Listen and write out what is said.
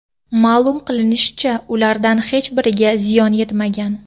Ma’lum qilinishicha, ulardan hech biriga ziyon yetmagan.